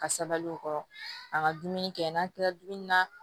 Ka sabali o kɔrɔ a ka dumuni kɛ n'an kilala dumuni na